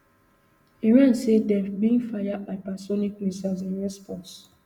iran say dem bin fire hypersonic missiles in response